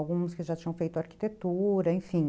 Alguns que já tinham feito arquitetura, enfim.